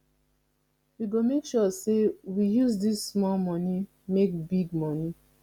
we go make sure sey we use dis small moni make big moni